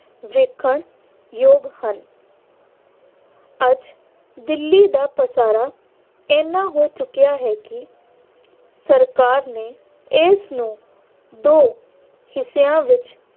ਵੇਖਣ ਯੋਗ ਹਨ। ਅੱਜ ਦਿੱਲੀ ਦਾ ਪਸਾਰਾ ਇਹਨਾ ਹੋ ਚੁੱਕਿਆ ਹੈ ਕਿ ਸਰਕਾਰ ਨੇ ਇਸ ਨੂੰ ਦੋ ਹਿੱਸਿਆਂ ਵਿੱਚ